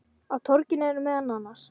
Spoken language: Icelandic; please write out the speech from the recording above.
Á torginu eru meðal annars